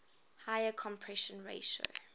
higher compression ratio